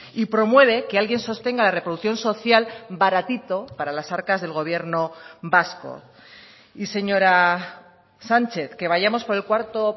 y promueve que alguien sostenga la reproducción social baratito para las arcas del gobierno vasco y señora sánchez que vayamos por el cuarto